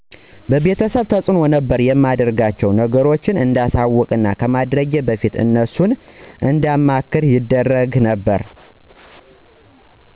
የቤተሰብ ተዕኖ ነበር የማደርጋቸውን ነገሮች እንዳሳወቅና ከማድረጌ በፊት እነሱን እንዳማክር ይደረግ ነበር